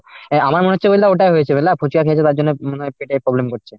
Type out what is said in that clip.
অ্যাঁ আমার মনে হচ্ছে বুঝলা ওটাই হয়েছে বুঝলা ফুচকা খেয়েছে তার জন্য মনে হয় পেটে problem করছে।